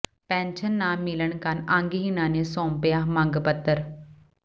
pension ਨਾ ਮਿਲਣ ਕਾਰਨ ਅੰਗਹੀਣਾਂ ਨੇ ਸੌਂਪਿਆ ਮੰਗ ਪੱਤਰ